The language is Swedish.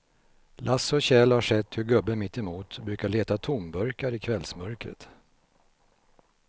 Lasse och Kjell har sett hur gubben mittemot brukar leta tomburkar i kvällsmörkret.